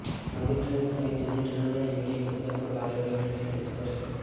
નવી ટ્રેનો સહીત જુની ટ્રેનોના યોગ્ય કોચને પણ બાયો ટોયલેટથી સજજ કરાશે